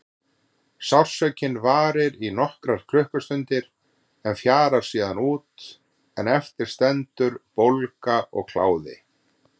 Sársaukinn varir í nokkrar klukkustundir en fjarar síðan út en eftir stendur bólga og kláði.